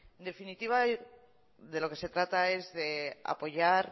en definitiva de lo que se trata es de apoyar